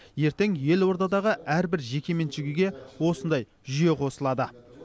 ертең елордадағы әрбір жекеменшік үйге осындай жүйе қосылады